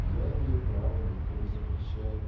я имею право никто не запрещает